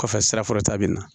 Kɔfɛ sirafɔlɔta bɛ na